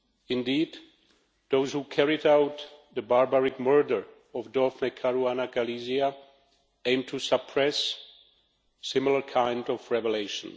Indeed, those who carried out the barbaric murder of Daphne Caruana Galizia aimed to suppress a similar kind of revelation.